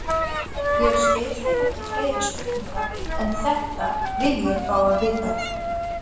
Ég spyr þig ekki fleiri spurninga, en þetta vil ég fá að vita.